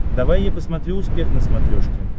давай я посмотрю успех на смотрешке